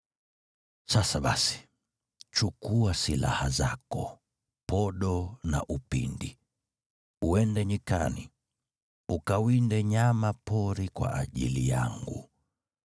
Sasa basi, chukua silaha zako, podo na upinde, uende nyikani, ukawinde nyama pori kwa ajili yangu.